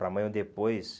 Para amanhã ou depois...